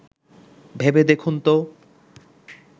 ভেবে দেখুন ত